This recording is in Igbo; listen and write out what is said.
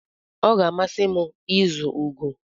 Ọ ga-amasị m ịzu ugo.